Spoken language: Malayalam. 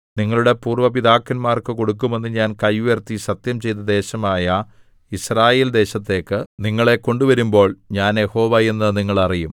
നിങ്ങളുടെ പൂര്‍വ്വ പിതാക്കന്മാർക്കു കൊടുക്കുമെന്ന് ഞാൻ കൈ ഉയർത്തി സത്യംചെയ്ത ദേശമായ യിസ്രായേൽദേശത്തേക്ക് നിങ്ങളെ കൊണ്ടുവരുമ്പോൾ ഞാൻ യഹോവ എന്ന് നിങ്ങൾ അറിയും